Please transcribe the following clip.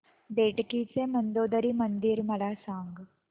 बेटकी चे मंदोदरी मंदिर मला सांग